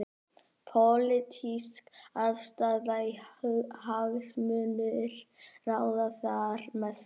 Pólitísk afstaða og hagsmunir ráða þar mestu.